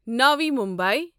Navi Mumbai